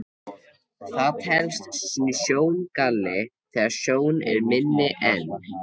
Það telst sjóngalli þegar sjón er minni en